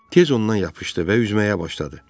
Tez ondan yapışdı və üzməyə başladı.